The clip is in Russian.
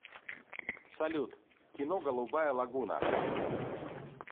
салют кино голубая лагуна